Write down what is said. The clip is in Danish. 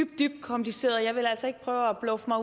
dybt kompliceret og jeg vil altså ikke prøve at bluffe mig